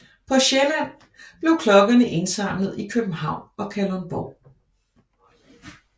På Sjælland blev klokkerne indsamlet i København og Kalundborg